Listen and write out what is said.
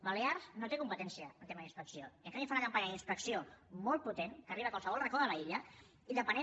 balears no té competència en temes d’inspecció i en canvi fa una campanya d’inspecció molt potent que arriba a qualsevol racó de l’illa i depenent